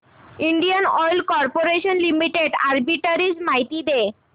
Indian Oil Corporation Limited arbitrage माहिती दे